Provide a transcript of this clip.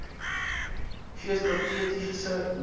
gee strategiese leiding